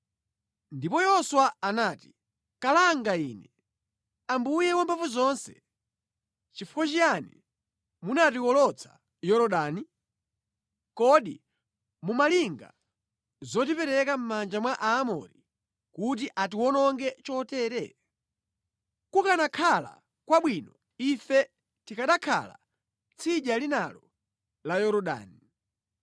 Ndipo Yoswa anati, “Kalanga ine, Ambuye Wamphamvuzonse chifukwa chiyani munatiwolotsa Yorodani? Kodi mumalinga zotipereka mʼmanja mwa Aamori kuti atiwononge chotere? Kukanakhala kwabwino ife tikanakhala tsidya linalo la Yorodani!